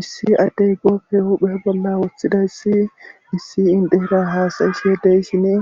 issi addey gopfe huhphe bolla woththidayssi issi indera haasayisheedeyssine